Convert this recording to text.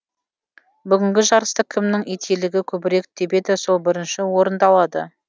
бүгінгі жарыста кімнің ителігі көбірек тебеді сол бірінші орынды алады